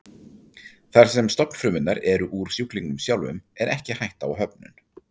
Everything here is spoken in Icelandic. Þar sem stofnfrumurnar eru úr sjúklingnum sjálfum er ekki hætta á höfnun.